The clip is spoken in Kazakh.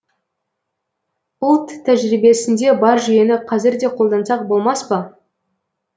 ұлт тәжірибесінде бар жүйені қазір де қолдансақ болмас па